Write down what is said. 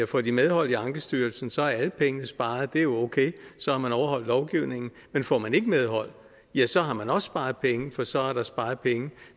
får de medhold i ankestyrelsen og så er alle pengene sparet det er jo okay så har man overholdt lovgivningen men får man ikke medhold ja så har man også sparet penge for så er der sparet penge